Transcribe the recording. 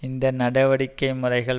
இந்த நடவடிக்கை முறைகள்